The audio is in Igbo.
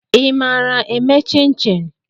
ị maara eme chin-chin?